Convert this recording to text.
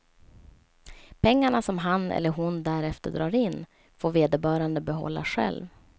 Pengarna som han eller hon därefter drar in får vederbörande behålla själv.